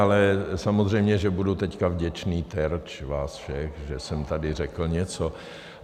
Ale samozřejmě že budu teď vděčný terč vás všech, že jsem tady řekl něco.